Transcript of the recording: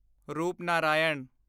Rupnarayan